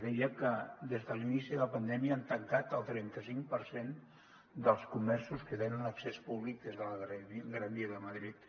deia que des de l’inici de la pandèmia han tancat el trenta cinc per cent dels comerços que tenen accés públic des de la gran via de madrid